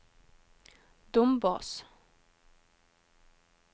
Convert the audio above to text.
Dombås